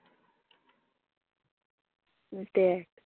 দ্যাখ,